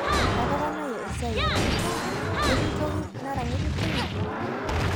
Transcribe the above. atoponayie esia ee royal, ketii toki nara ng'ejuk tine